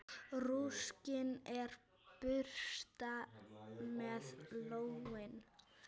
Rúskinn er burstað með lónni.